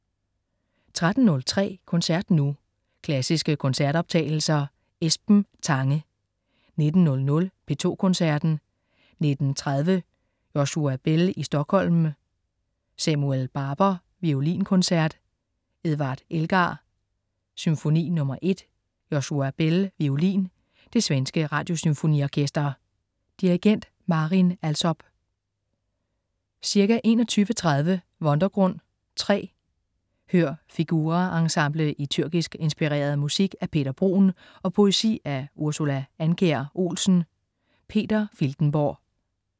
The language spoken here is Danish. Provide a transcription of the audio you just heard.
13.03 Koncert nu. Klassiske koncertoptagelser. Esben Tange 19.00 P2 Koncerten. 19.30 Joshua Bell i Stockholm. Samuel Barber: Violinkoncert. Edward Elgar: Symfoni nr. 1. Joshua Bell, violin. Det svenske Radiosymfoniorkester. Dirigent: Marin Alsop. Ca. 21.30 Wundergrund (3). Hør Figura Ensemble i tyrkisk inspireret musik af Peter Bruun og poesi af Ursula Andkjær Olsen. Peter Filtenborg